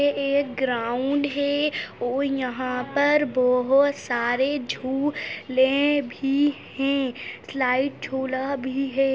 ये एक ग्रॉउंड हे ओ यहाँ पर बहोत सारे झु ले भी हैं स्लाइड झूला भी हैं।